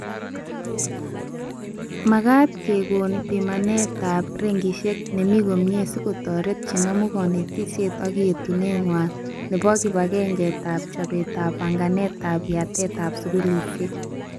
Magete kokekon pimanetab rengishek nemi komie sikotoret chenamu konetishet ak yetunet ngway nebo kibegengetab chobetab banganetab yatetab skulishek